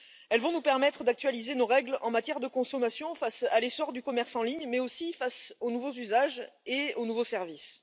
Ils vont nous permettre d'actualiser nos règles en matière de consommation face à l'essor du commerce en ligne, mais aussi face aux nouveaux usages et aux nouveaux services.